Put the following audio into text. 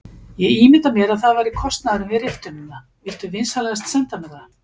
Ég ímynda mér að það væri kostnaðurinn við riftunina, viltu vinsamlegast senda mér það?